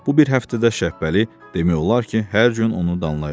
Bu bir həftədə Şəpbəli demək olar ki, hər gün onu danlayırdı.